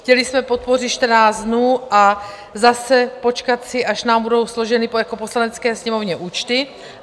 Chtěli jsme podpořit 14 dnů a zase počkat si, až nám budou složeny jako Poslanecké sněmovně účty.